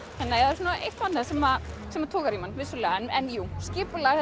þannig að það er eitt og annað sem togar í mann en skipulag